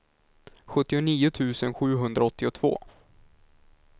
sjuttionio tusen sjuhundraåttiotvå